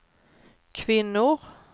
kvinnor